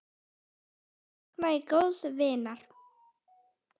Nú sakna ég góðs vinar.